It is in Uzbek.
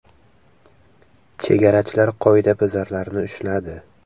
Chegarachilar qoidabuzarlarni ushladi.